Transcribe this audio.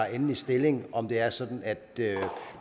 endelig stilling om det er sådan at